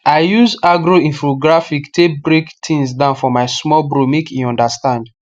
i use agro infographic take break things down for my small bro make e understand